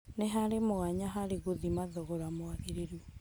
Nĩharĩ mwanya harĩ gũthima thogora mwagĩriru